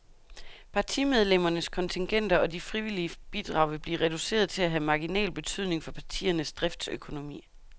Partimedlemmernes kontingenter og de frivillige bidrag vil blive reduceret til at have marginal betydning for partiernes driftsøkonomi.